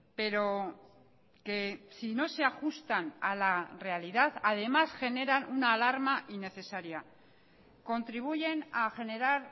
pero que si no se ajustan a la realidad además generan una alarma innecesaria contribuyen a generar